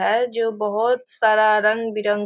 है जो बहुत सारा रंग-बिरंग --